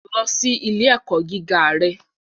Lọ si ile-ẹkọ giga rẹ